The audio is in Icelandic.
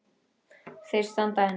Þeir standa enn.